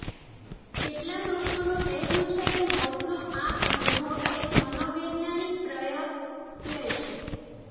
કેટલાક લોકોનું કહેવું છે કે મોતનો આ અનુભવ એક મનોવૈજ્ઞાનિક પ્રત્યય છે